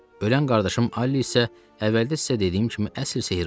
Ölən qardaşım Alli isə əvvəldə sizə dediyim kimi əsl sehrbaz idi.